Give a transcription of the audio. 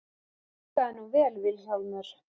Og hlustaðu nú vel Vilhjálmur.